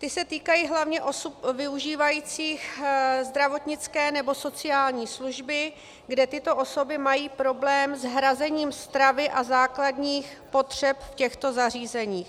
Ty se týkají hlavně osob využívajících zdravotnické nebo sociální služby, kde tyto osoby mají problém s hrazením stravy a základních potřeb v těchto zařízeních.